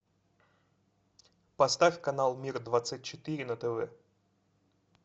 поставь канал мир двадцать четыре на тв